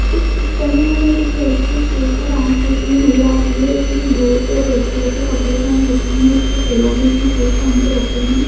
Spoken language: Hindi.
इस पिक्चर में हमें एक लड़की स्टेस पर डान्स करती हुई नजर आ रही है इसने ब्लेक औ रेड कलर के कपड़े पहन रखें हैं इसके पैरों में इसने शूज पहन के रखे हैं।